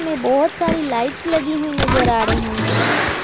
में बहुत सारी लाइट्स लगी हुई नजर आ रही हैं।